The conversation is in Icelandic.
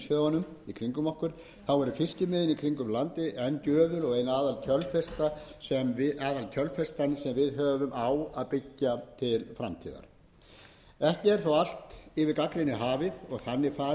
fiskimiðin í kringum landið enn gjöful og ein aðal kjölfestan sem við höfum á að byggja til framtíðar ekki er þó allt yfir gagnrýni hafið og þannig farið að ekki hefði mátt betur